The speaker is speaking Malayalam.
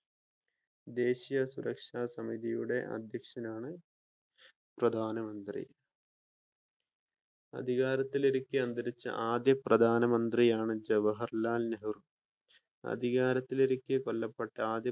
ദേശീയ സുരക്ഷാ സമിതിയുടെ അധ്യക്ഷനാണ് പ്രധാന മന്ത്രി അധികാരത്തിലിരിക്കെ അന്തരിച്ച ആദ്യത്തെ പ്രധാന മന്ത്രിയാണ് ജൻഹർലാൽ നെഹ്‌റു അധികാരത്തിലിരിക്കെ കൊല്ലപ്പെട്ട